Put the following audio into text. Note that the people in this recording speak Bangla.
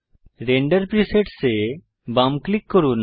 রেন্ডার প্রিসেটস এ বাম ক্লিক করুন